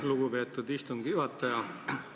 Lugupeetud istungi juhataja!